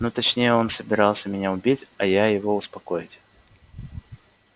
ну точнее он собирался меня убить а я его успокоить